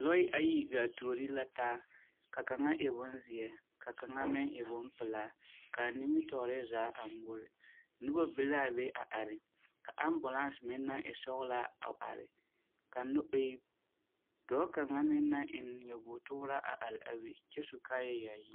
Lɔɛ ayi gaa tuori la taa, ka kaŋa e bonzeɛ ka kaŋa meŋ e bompelaa kaa nimitɔɔre zaa a ŋmore. Noba be laa be a are, ka ambolans meŋ naŋ e sɔgelaa a are, ka no e dɔɔ kaŋa meŋ naŋ eŋ nyabootooraa a are a be kyɛ su kaayayaayi.